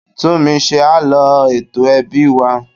Túnmise á lọ ètò ẹbí wa.